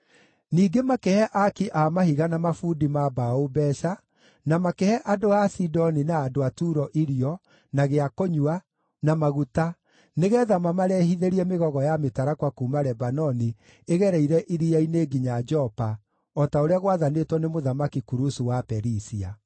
Ningĩ makĩhe aaki a mahiga na mabundi ma mbaũ mbeeca, na makĩhe andũ a Sidoni na andũ a Turo irio, na gĩa kũnyua, na maguta nĩgeetha mamarehithĩrie mĩgogo ya mĩtarakwa kuuma Lebanoni ĩgereire iria-inĩ nginya Jopa, o ta ũrĩa gwaathanĩtwo nĩ Mũthamaki Kurusu wa Perisia.